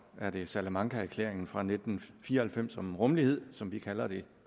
er det salamancaerklæringen fra nitten fire og halvfems om rummelighed som vi kalder det